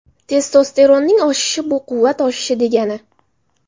Testosteronning oshishi – bu quvvat oshishi degani.